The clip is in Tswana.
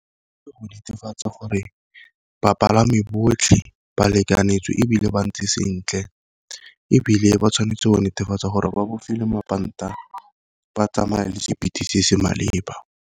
Ka go netefatsa gore bapalami botlhe ba lekanetswe ebile ba ntse sentle, ebile ba tshwanetse go netefatsa gore ba bofegile mapanta ba tsamaya le speed se se maleba.